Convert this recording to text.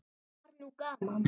Það var nú gaman.